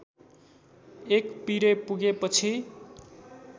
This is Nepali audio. एक पिरे पुगेपछि